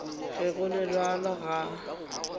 ge go le bjalo ga